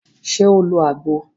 Ṣe o lo agbo?